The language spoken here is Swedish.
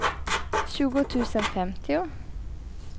tjugo tusen femtio